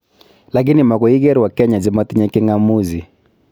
Lakini magoiker wakenya chemotinye king'amuzi